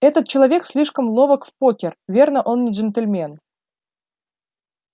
этот человек слишком ловок в покер верно он не джентльмен